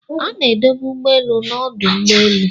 A na-edobe ụgbọelu n'ọdụ ụgbọ elu.